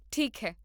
ਠੀਕ ਹੈ